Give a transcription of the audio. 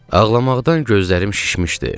Ağlamaqdan gözlərim şişmişdi.